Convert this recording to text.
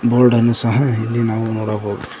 ಬೋರ್ಡನ್ನು ಸಹ ಇಲ್ಲಿ ನಾವು ನೋಡಬಹುದು.